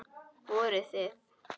Voruð þið.